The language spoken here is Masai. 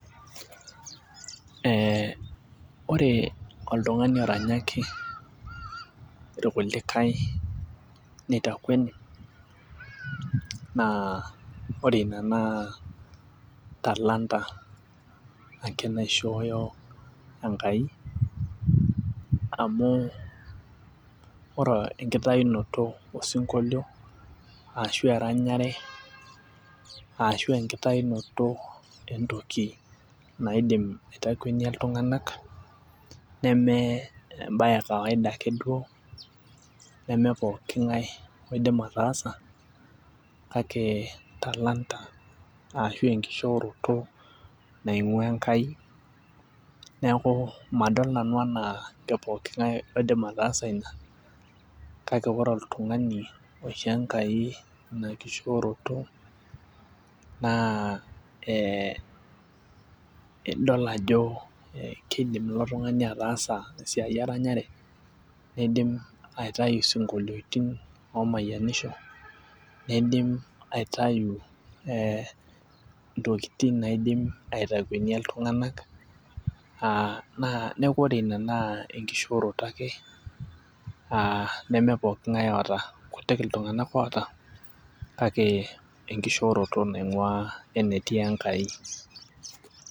Ee ore oltung'ani oranyaki irkulikae nitakueni naa ore Ina naa talanta ake naishooyo Enkai. amu, ore enkitayinoto osinkolio ashu eranyare, ashu enkitayinoto entoki naidim aitakuenia iltung'anak neme ebaye ekawaida ake duo. neme pookin ng'ae oidim ataasa kake talanta ashu enkishooroto naingua Enkai neeku, madol nanu anaa kepooki ng'ae oidim ataasa ina. kake ore oltung'ani oishoo Enkai Ina kishooroto, naa ee idol ajo kidim ilo tung'ani ataasa esiai eranyare, neidim aitayu isinkoliotin oomayianisho. nidim aitayu intokitin naidim aitakuenia Iltung'anak. naa neeku ore Ina naa enkishooroto ake. neme pooki ng'ae oota. kutik iltung'anak oota, kake enkishooroto naing'ua enetii Enkai.